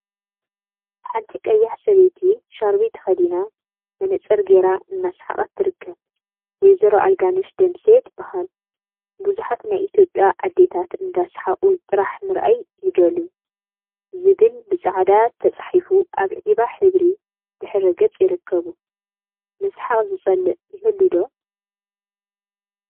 ሓንቲ ቀያሕ ሰበይቲ ሻርቢ ተከዲና መነፀር ገይራ እናሰሓቀት ትርከብ፡፡ ወ/ሮ አረጋሽ ደምሴ ትበሃል፡፡ ቡዙሓት ናይ ኢትዮጵያ አዴታት እንዳሰሓቁ ጥራሕ ምርአይ ይደልዩ… ዝብል ብፃዕዳ ተፃሒፉ አብ ዒባ ሕብሪ ድሕረ ገፅ ይርከቡ፡፡ ምስሓቅ ዝፀልእ ይህሉ ዶ ?